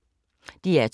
DR2